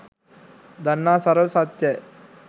දන්නා සරල සත්‍යයි